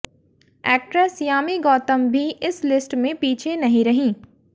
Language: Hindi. एक्ट्रेस यामी गौतम भी इस लिस्ट में पीछे नहीं रहीं